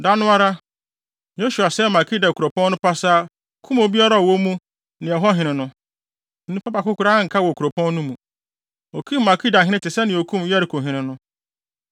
Da no ara, Yosua sɛee Makeda kuropɔn no pasaa, kum obiara a ɔwɔ mu ne ɛhɔ hene no. Onipa baako koraa anka wɔ kuropɔn no mu. Okum Makedahene te sɛnea okum Yerikohene no.